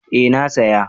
Eh na saya